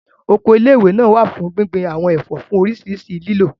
Oko ilé ìwé náà wà fún gbíngbin àwọn ẹ̀fọ́ fún oríṣiríṣi lílò